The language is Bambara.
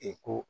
I ko